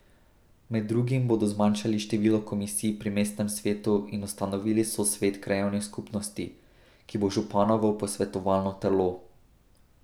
Med drugim bodo zmanjšali število komisij pri mestnem svetu in ustanovili sosvet krajevnih skupnosti, ki bo županovo posvetovalno telo.